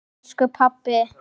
Takk elsku pabbi.